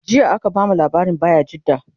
jiya aka bamu labarin bayajidda